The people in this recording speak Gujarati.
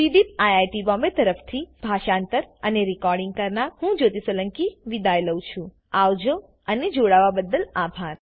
સીડીઇઇપી આઇઆઇટી બોમ્બે તરફથી હું જ્યોતી સોલંકી વિદાય લઉં છું આવજો અને જોવાબદ્દલ આભાર